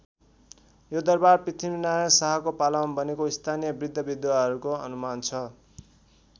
यो दरबार पृथ्वीनारायण शाहको पालामा बनेको स्थानीय बृद्धबृद्धाहरूको अनुमान छ।